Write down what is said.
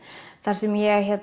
þar sem ég